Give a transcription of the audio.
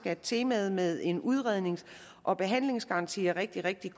at temaet med en udrednings og behandlingsgaranti er rigtig rigtig